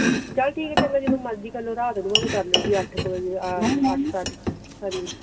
ਚਲ ਠੀਕ ਆ ਜਦੋ ਮਰਜੀ ਕਰਲੋ ਰਾਤ ਨੂ ਅਠ ਕ ਵਜੇ ਅਠ ਸਾਠ